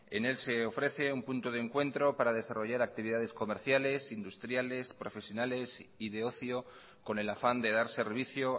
en él se ofrece un punto de encuentro para desarrollar actividades comerciales industriales profesionales y de ocio con el afán de dar servicio